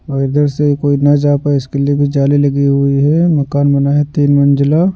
और इधर से कोई ना जा पाए इसके लिए भी जाली लगी हुई है मकान बना है तीन मंजिला।